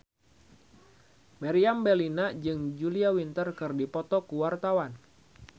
Meriam Bellina jeung Julia Winter keur dipoto ku wartawan